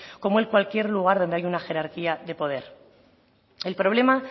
como en cualquier lugar donde hay una jerarquía de poder el problema